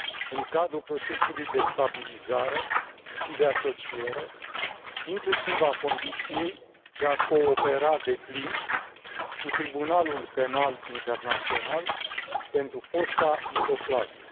în cadrul procesului de stabilizare și de asociere, inclusiv a condiției de a coopera deplin cu Tribunalul Penal Internațional pentru fosta Iugoslavie.